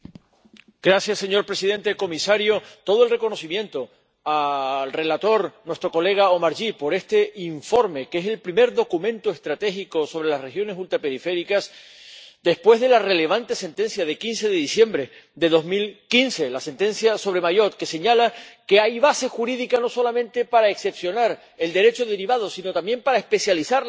Señor presidente, comisario, todo el reconocimiento al ponente, nuestro colega Omarjee, por este informe, que es el primer documento estratégico sobre las regiones ultraperiféricas después de la relevante sentencia de 15 de diciembre de 2015, la sentencia sobre Mayotte, que señala que hay base jurídica no solamente para excepcionar el Derecho derivado, sino también para especializar las políticas